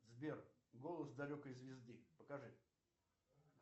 сбер голос далекой звезды покажи